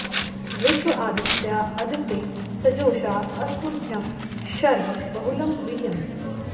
विश्व॑ आदित्या अदिते स॒जोषा॑ अ॒स्मभ्यं॒ शर्म॑ बहु॒लं वि य॑न्त